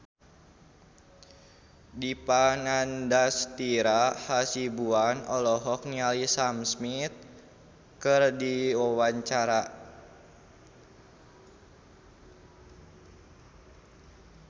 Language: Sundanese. Dipa Nandastyra Hasibuan olohok ningali Sam Smith keur diwawancara